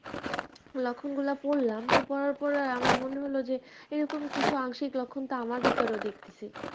লক্ষণ গুলা পড়লাম তো পড়ার পরে আমার মনে হলো যে এইরকম কিছু আংশিক লক্ষণ তো আমার ভিতরেও দেখতেছি